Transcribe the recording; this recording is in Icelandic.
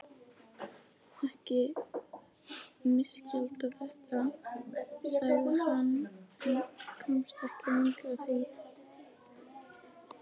Ekki misskilja þetta, sagði hann en komst ekki lengra því